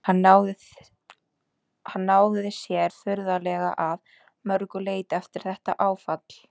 Hann náði sér furðanlega að mörgu leyti eftir þetta áfall.